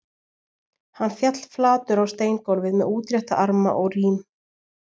Hann féll flatur á steingólfið með útrétta arma og rím